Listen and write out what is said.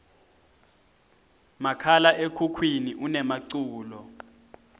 makhala ekhukhwini unemaculo